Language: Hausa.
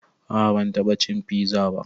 A'a ban taɓa cin fiza ba